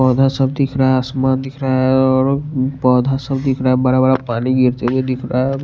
पौधा सब दिख रहा है आसमान दिख रहा है और पौधा सब दिख रहा है बड़ा बड़ा पानी गिरते हुए दिख रहा है।